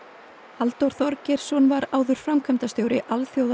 Halldór Þorgeirsson var áður framkvæmdastjóri